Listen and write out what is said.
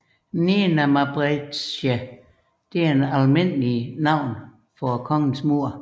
Nena Mbretëreshë er et almindeligt navn for kongens mor